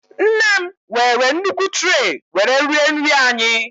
nnem were nnukwu tray were rie nri anyị